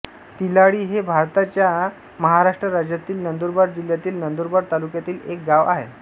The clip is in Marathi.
तिलाळी हे भारताच्या महाराष्ट्र राज्यातील नंदुरबार जिल्ह्यातील नंदुरबार तालुक्यातील एक गाव आहे